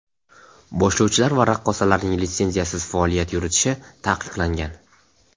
boshlovchilar va raqqosalarning litsenziyasiz faoliyat yuritishi taqiqlangan.